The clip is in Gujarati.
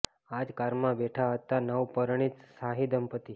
આ જ કારમાં બેઠા હતા નવ પરિણીત શાહી દંપત્તિ